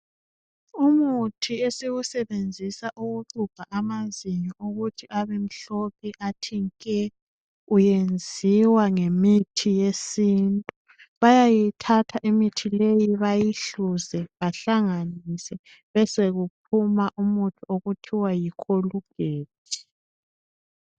Umuthi esiwusebenzisa ukuxubha amanzinyo ukuthi abemhlophe athi nke! Uyenziwa ngemithi yesintu. Bayayithatha imithi le, bayihluze, bahlanganise. Besekuphuma umuthi okuthiwa yikholugethi.